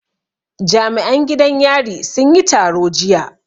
Jami'an gidan yari sun yi taro jiya